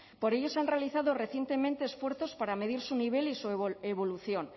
por ello se han realizado recientemente esfuerzos para medir su nivel y su evolución